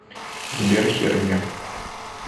сбер херня